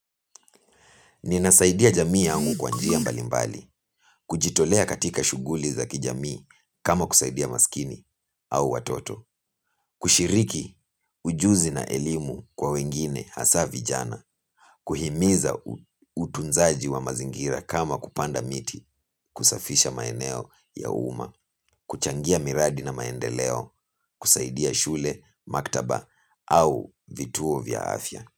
Ninasaidia jamii yangu kwa njia mbali mbali, kujitolea katika shuguli za kijamii kama kusaidia masikini au watoto, kushiriki ujuzi na elimu kwa wengine hasa vijana, kuhimiza utunzaji wa mazingira kama kupanda miti, kusafisha maeneo ya uma, kuchangia miradi na maendeleo, kusaidia shule, maktaba au vituo vya afya.